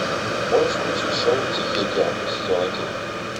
можешь включить шоу тихий океан сезон один